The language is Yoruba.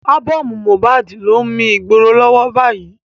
Ábọ́ọ̀mù Mohbad ló ń mi ìgboro lọ́wọ́ báyìí.